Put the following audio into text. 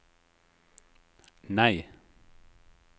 nei